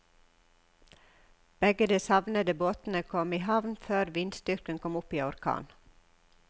Begge de savnede båtene kom i havn før vindstyrken kom opp i orkan.